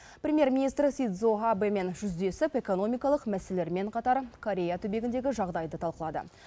премьер министр синдзо абэмен жүздесіп экономикалық мәселелермен қатар корея түбегіндегі жағдайды талқылады